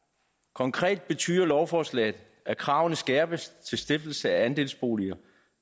konkret betyder lovforslaget at kravene skærpes til stiftelse af andelsboliger